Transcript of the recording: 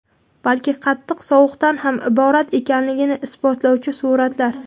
balki qattiq sovuqdan ham iborat ekanligini isbotlovchi suratlar.